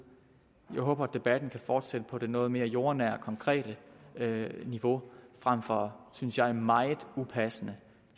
jeg håber at debatten kan fortsætte på det noget mere jordnære og konkrete niveau frem for synes jeg meget upassende